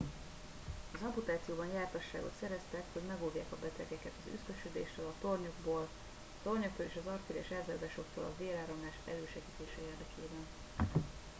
az amputációban jártasságot szereztek hogy megóvják a betegeket az üszkösödéstől a tornyoktól és az artériás elzáródásoktól a véráramlás elősegítése érdekében